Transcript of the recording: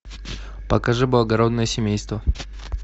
покажи благородное семейство